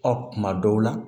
Ɔ kuma dɔw la